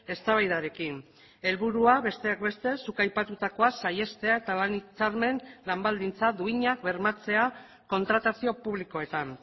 eztabaidarekin helburua besteak beste zuk aipatutakoa saihestea eta lan hitzarmen eta lan baldintza duinak bermatzea kontratazio publikoetan